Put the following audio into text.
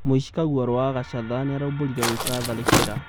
mũici kaguarũ wa gacatha nĩaraumbũrire gwĩka tharĩkĩra